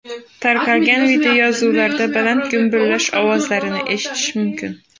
Tarqalgan videoyozuvlarda baland gumburlash ovozlarini eshitish mumkin.